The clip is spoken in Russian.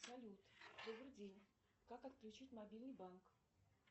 салют добрый день как отключить мобильный банк